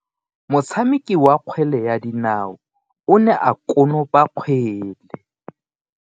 Motshameki wa kgwele ya dinao o ne a konopa kgwele.